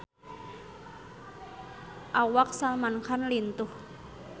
Awak Salman Khan lintuh